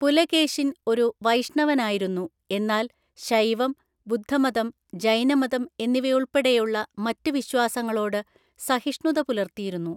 പുലകേശിൻ ഒരു വൈഷ്ണവനായിരുന്നു, എന്നാൽ ശൈവം, ബുദ്ധമതം, ജൈനമതം എന്നിവയുൾപ്പെടെയുള്ള മറ്റ് വിശ്വാസങ്ങളോട് സഹിഷ്ണുത പുലർത്തിയിരുന്നു.